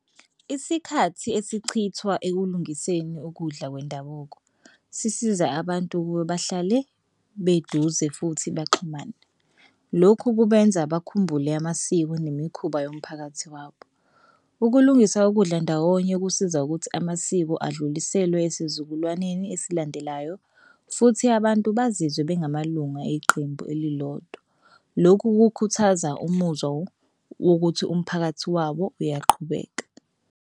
Isikhathi esichithwa ekulungiseni ukudla kwendabuko sisiza abantu ukuba bahlale beduze futhi baxhumane. Lokhu kubenza bakhumbule amasiko nemikhuba yomphakathi wabo. Ukulungisa ukudla ndawonye kusiza ukuthi amasiko adluliselwe esizukulwaneni esilandelayo futhi abantu bazizwe bengamalungu eqembu elilodwa. Lokhu kukhuthaza umuzwa wokuthi umphakathi wawo uyaqhubeka.